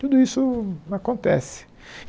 Tudo isso acontece.